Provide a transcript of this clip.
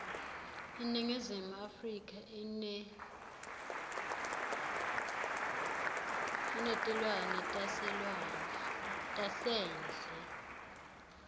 iningizimu afrika inetluanetasendle